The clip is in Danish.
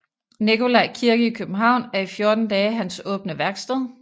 Nikolaj Kirke i København er i 14 dage hans åbne værksted